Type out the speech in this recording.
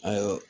Ayiwa